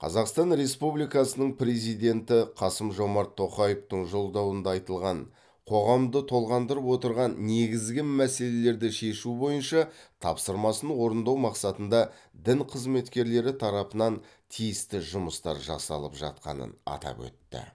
қазақстан республикасының президенті қасым жомарт тоқаевтың жолдауында айтылған қоғамды толғандырып отырған негізгі мәселелерді шешу бойынша тапсырмасын орындау мақсатында дін қызметкерлері тарапынан тиісті жұмыстар жасалып жатқанын атап өтті